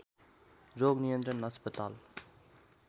रोग नियन्त्रण अस्पताल